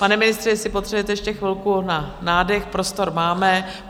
Pane ministře, jestli potřebujete ještě chvilku na nádech, prostor máme.